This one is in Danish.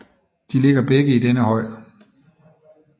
De ligger begge i denne høj